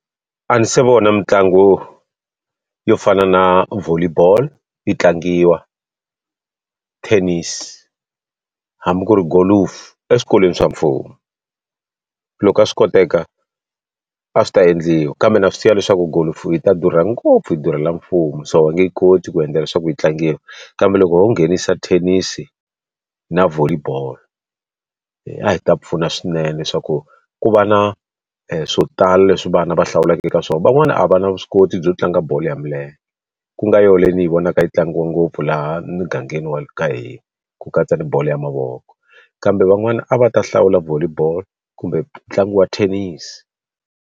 A ndzi se vona mitlangu yo fana na volley ball yi tlangiwa, tennis, hambi ku ri golofu eswikolweni swa mfumo. Loko a swi koteka, a swi ta endliwa kambe na swi tiva leswaku golofu yi ta durha ngopfu yi durhela mfumo so va nge yi koti ku endla leswaku yi tlangiwa. Kambe loko ho nghenisa thenisi na volley ball, a hi ta pfuna swinene leswaku ku va na swo tala leswi vana va hlawuleka eka swona. Van'wana a va na vuswikoti byo tlanga bolo ya milenge, ku nga yona leyi ni hi vonaka yi tlangiwa ngopfu laha mugangeni wa ka hina ku katsa na bolo ya mavoko. Kambe van'wana a va ta hlawula volley ball kumbe ntlangu wa thenisi.